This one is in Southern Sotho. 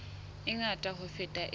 e ngata ho feta e